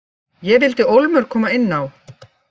Ég vildi ólmur koma inn á.